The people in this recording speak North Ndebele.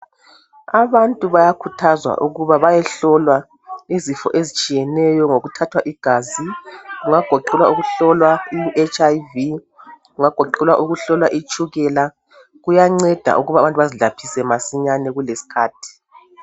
Abantu bayakhuthuzwa ukuba bayehlolwa izifo ezitshiyeneyo ngokuthathwa igazi kungagoqela ukuhlolwa iHIV kungagoqela ukuhlolwa itshukela kuyanceda ukuba abantu bazilaphise masinyane kulesikhathi